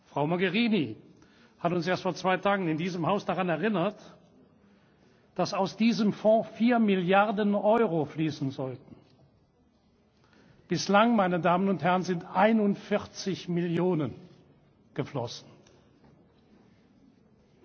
Frau Mogherini hat uns erst vor zwei Tagen in diesem Haus daran erinnert, dass aus diesem Fonds vier Milliarden Euro fließen sollten. Bislang, meine Damen und Herren, sind zu den 41 Millionen Euro